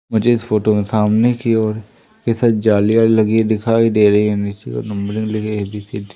मुझे इस फोटो में सामने की ओर कई सारी जालियां लगी दिखाई दे रही हैं नीचे ओर नंबरिंग लिखी है ए बी सी डी ।